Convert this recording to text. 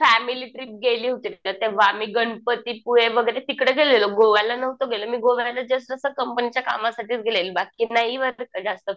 Family trip गेली होती तेंव्हा आम्ही गणपती पुळे वगैरे तिकडे गेलेलो. गोवाला नव्हतो गेलेलो मी गोव्याला जस्ट असं कंपनीच्या कामासाठीच गेलेले बाकी नाही जास्त